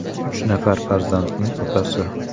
Uch nafar farzandning otasi.